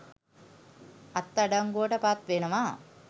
අත්අඩංගුවට පත් වෙනවා